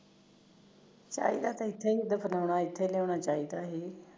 ਚਾਹੀਦਾ ਤਾਂ ਇੱਥੇ ਫਲਾਉਣਾ ਇਥੇ ਲਿਆਉਣਾ ਚਾਹੀਦਾ ਸੀ